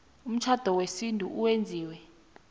umtjhado wesintu owenziwe